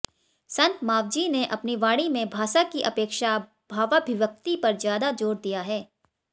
संत मावजी ने अपनी वाणी में भाषा की अपेक्षा भावाभिव्यक्ति पर ज्यादा जोर दिया है